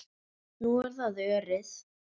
Nú er það Örið.